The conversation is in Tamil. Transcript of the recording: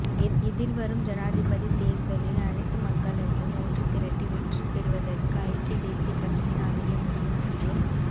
எதிர்வரும் ஜனாதிபதி தேர்தலில் அனைத்து மக்களையும் ஒன்று திரட்டி வெற்றி பெறுவதற்கு ஐக்கிய தேசிய கட்சியினாலேயே முடியும் என்றும்